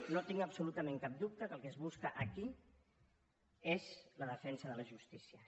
no tinc absolutament cap dubte que el que es busca aquí és la defensa de la justícia